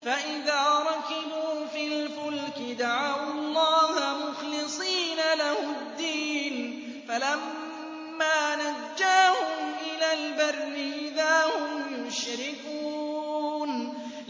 فَإِذَا رَكِبُوا فِي الْفُلْكِ دَعَوُا اللَّهَ مُخْلِصِينَ لَهُ الدِّينَ فَلَمَّا نَجَّاهُمْ إِلَى الْبَرِّ إِذَا هُمْ يُشْرِكُونَ